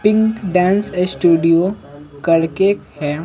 Pink dance studio करके है।